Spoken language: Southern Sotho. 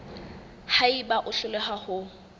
ha eba o hloleha ho